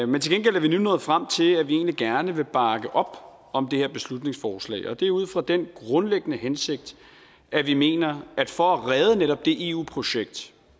men til gengæld er vi nu nået frem til at vi egentlig gerne vil bakke op om det her beslutningsforslag og det er ud fra den grundlæggende hensigt at vi mener at for at redde netop det eu projekt